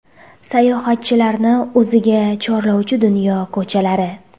Sayohatchilarni o‘ziga chorlovchi dunyo ko‘chalari .